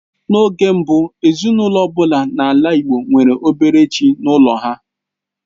N'oge mbụ, ezinaụlọ ọ bụla n'ala Igbo nwere obere chi n'ụlọ ha.